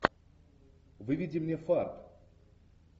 выведи мне фарт